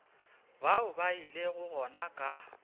bao ba ilego gona ka